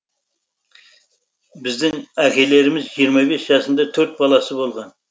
біздің әкелеріміз жиырма бес жасында төрт баласы болған